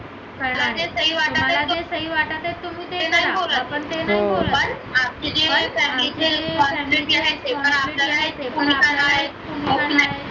सही वाटत आहे ते तुम्ही ते बोला आपण ते नाही